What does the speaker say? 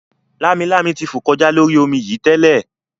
Lámilámi ti fò kọjá lórí omi yìí tẹ́lẹ̀